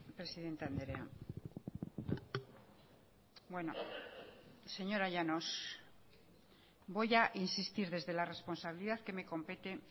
presidente andrea bueno señora llanos voy a insistir desde la responsabilidad que me compete